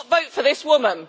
Do not vote for this woman.